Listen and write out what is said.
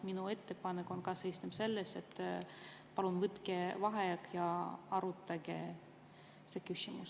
Minu ettepanek seisneb selles, et palun võtke vaheaeg ja arutage seda küsimust.